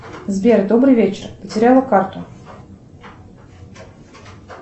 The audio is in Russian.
сбер добрый вечер потеряла карту